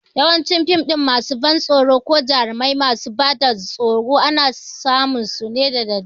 Yawancin fim masu ban tsoro ko jarumai masu bada tsoro ana suna su ne da dare